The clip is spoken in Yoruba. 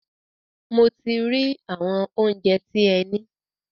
Mo ti rí àwọn óunjẹ tí ẹ ní.